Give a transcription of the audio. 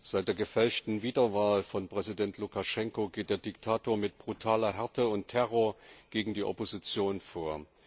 Seit der gefälschten Wiederwahl von Präsident Lukaschenko geht der Diktator mit brutaler Härte und Terror gegen die Opposition vor.